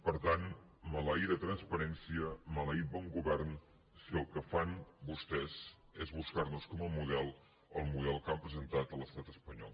per tant maleïda transparència maleït bon govern si el que fan vostès és buscar nos com a model el model que han presentat l’estat espanyol